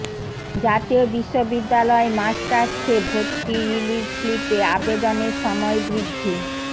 জাতীয় বিশ্ববিদ্যালয় মাস্টার্সে ভর্তি রিলিজ স্লিপে আবেদনের সময় বৃদ্ধি